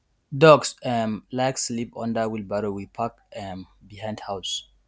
ducks um like sleep under wheelbarrow we park um behind house